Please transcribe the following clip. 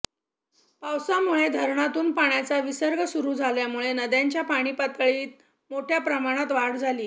पावसामुळे धरणातून पाण्याचा विसर्ग सुरु झाल्यामुळे नद्यांच्या पाणीपातळीत मोठया प्रमाणात वाढ झाली